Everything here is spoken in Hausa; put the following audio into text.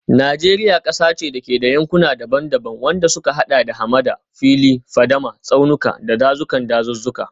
Najeriya kasa ce da ke da yankuna daban-daban, wadanda suka hada da hamada, fili, fadama, tsaunuka, da dazuzzukan dazuzzuka.